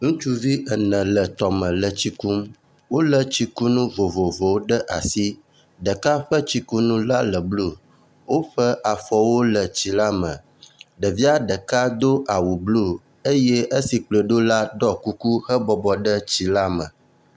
Ŋutsuvi ene le tɔme ele tsi kum. Wo le tsikunu vovovowo ɖe asi. Ɖeka ƒe tsikunu la le blu. Woƒe afɔwo le tsi la me. Ɖevia ɖeka do awu blu eye esi kplɔe ɖo la ɖɔ kuku hebɔbɔ ɖe tsi la me.